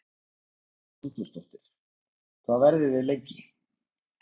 Hugrún Halldórsdóttir: Hvað verðið þið lengi?